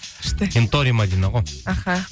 күшті кентори мәдина ғой аха